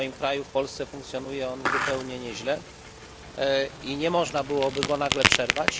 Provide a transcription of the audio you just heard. W moim kraju, Polsce, funkcjonuje on zupełnie nieźle i nie można byłoby go nagle przerwać.